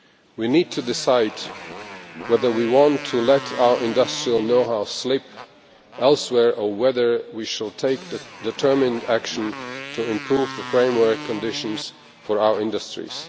We need to decide whether we want to let our industrial know-how slip away elsewhere or whether we should take determined action to improve the framework conditions for our industries.